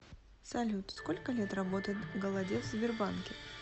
салют сколько лет работает голодец в сбербанке